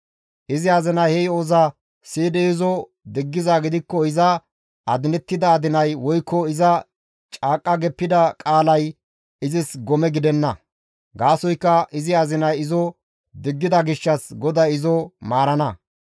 Izi azinay he yo7oza siyidi izo diggizaa gidikko iza adinettida adinay woykko iza caaqqa geppida qaalay izis gome gidenna; gaasoykka izi azinay izo diggida gishshas GODAY izo maarana.